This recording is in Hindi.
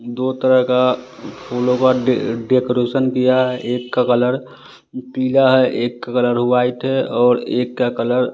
दो तरह का फूलों का डे डेकोरेशन किया है एक का कलर पीला है एक का कलर व्हाइट है और एक का कलर --